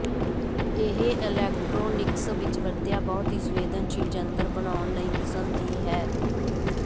ਇਹ ਇਲੈਕਟ੍ਰੋਨਿਕਸ ਵਿੱਚ ਵਰਤਿਆ ਬਹੁਤ ਹੀ ਸੰਵੇਦਨਸ਼ੀਲ ਯੰਤਰ ਬਣਾਉਣ ਲਈ ਕਿਸਮ ਦੀ ਹੈ